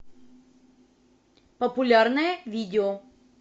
популярное видео